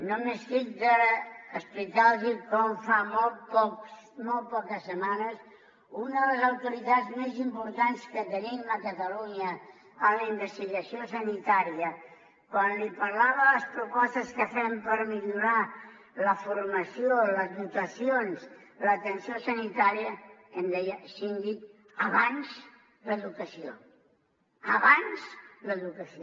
no m’estic d’explicar los com fa molt poc molt poques setmanes una de les autoritats més importants que tenim a catalunya en la investigació sanitària quan li parlava les propostes que fem per millorar la formació les dotacions l’atenció sanitària em deia síndic abans l’educació abans l’educació